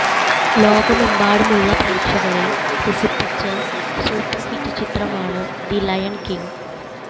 ലോകമെമ്പാടുമുള്ള പ്രേക്ഷകരെ രസിപ്പിച്ച സൂപ്പർ ഹിറ്റ് ചിത്രമാണ് ദി ലയൺ കിങ്